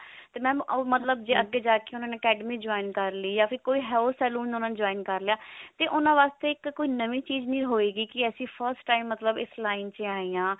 ਤੇ mam ਉਹ ਮਤਲਬ ਜੇ ਅੱਗੇ ਜਾ ਕਿ ਉਹਨਾਂ ਨੇ academy join ਕਰ ਲਈ ਯਾ ਫਿਰ ਕੋਈ ਉਹਨਾਂ ਨਰ ਹੋਰ salon ਉਹਨਾਂ ਨੇ join ਕਰ ਲਿਆ ਤੇ ਉਹਨਾਂ ਵਾਸਤੇ ਤਾਂ ਕੋਈ ਨਵੀਂ ਚੀਜ਼ ਨਹੀ ਹੋਏਗੀ ਕੀ ਅਸੀਂ first time ਮਤਲਬ ਇਸ line ਚ ਆਏ ਹਾਂ